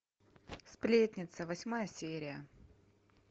сплетница восьмая серия